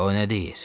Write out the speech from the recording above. O nə deyir?